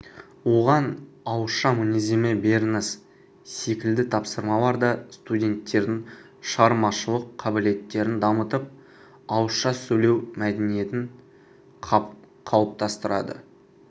оған ауызша мінездеме беріңіз секілді тапсырмалар да студенттердің шығармашылық қабілеттерін дамытып ауызша сөйлеу мәдениетін қалыптастырады